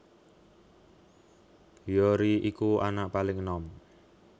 Hyori iku anak paling enom